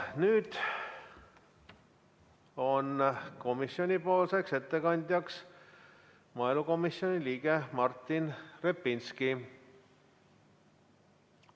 Nüüd on ettekandjaks maaelukomisjoni liige Martin Repinski.